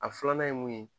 A filanan ye mun ye